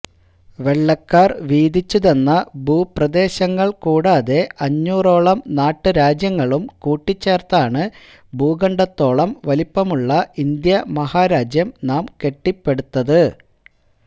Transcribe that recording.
വെള്ളക്കാര് വീതിച്ചു തന്ന ഭൂപ്രദേശങ്ങള് കൂടാതെ അഞ്ഞൂറോളം നാട്ടുരാജ്യങ്ങളും കൂട്ടിച്ചേര്ത്താണു ഭൂഖണ്ഡത്തോളം വലുപ്പമുള്ള ഇന്ത്യാ മഹാരാജ്യം നാം കെട്ടിപ്പടുത്തത്